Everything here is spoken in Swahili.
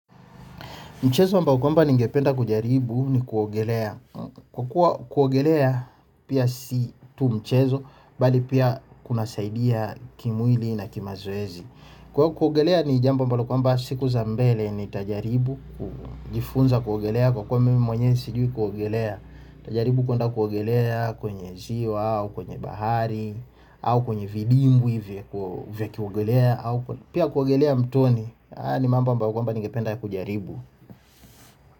Mchezo ambao kwamba ningependa kujaribu ni kuogelea. Kwa kuwa kuogelea pia si tu mchezo bali kunasaidia kimwili na kimazoezi. Kwa hiyo kuogelea ni jambo ambalo kwamba siku za mbele nitajaribu, kujifunza kuogelea, kwa kuwa mimi mwenyewe sijui kuogelea. Najaribu kwenda kuogelea kwenye ziwa au kwenye bahari, au kwenye vidimbwi hivyo kujaribu. Pia kuogelea mtoni haya ni mambo ambayo kwamba ningependa kujaribu.